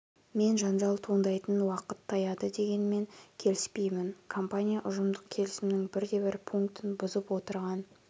мен жанжал туындайтын уақыт таяды дегенмен келіспеймін компания ұжымдық келісімнің бір де бір пунктін бұзып отырған